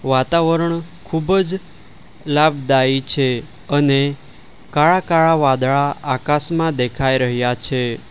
વાતાવરણ ખૂબ જ લાભદાયી છે અને કાળા કાળા વાદળા આકાશમાં દેખાઈ રહ્યા છે.